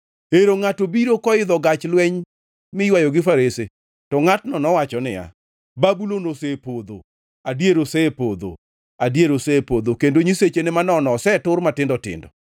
Ero ngʼato biro koidho gach lweny miywayo gi farese. To ngʼatno nowacho niya, ‘Babulon osepodho, adier osepodho, adier osepodho, kendo nyisechene manono osetur matindo tindo!’ ”